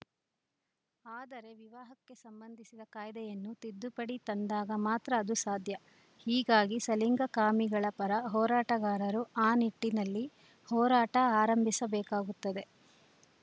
ಆದರೆ ವಿವಾಹಕ್ಕೆ ಸಂಬಂಧಿಸಿದ ಕಾಯ್ದೆಯನ್ನು ತಿದ್ದುಪಡಿ ತಂದಾಗ ಮಾತ್ರ ಅದು ಸಾಧ್ಯ ಹೀಗಾಗಿ ಸಲಿಂಗಕಾಮಿಗಳ ಪರ ಹೋರಾಟಗಾರರು ಆ ನಿಟ್ಟಿನಲ್ಲಿ ಹೋರಾಟ ಆರಂಭಿಸಬೇಕಾಗುತ್ತದೆ